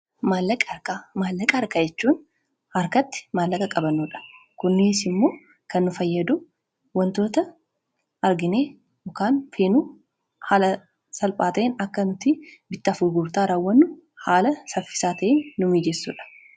Maallaqa argachuun harkatti maallaqa qabannoodha kunnis immoo kan nu fayyadu wantoota arginee ukaan feenuu haala salphaata'in akka nuti bittaa furgurtaa raawwannu haala saffisaa ta'in nu miijessuudha.